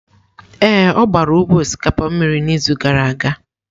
Ee, ọ gbara ugbo osikapa mmiri n'izu gara aga.